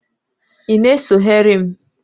ị na-esogheri m?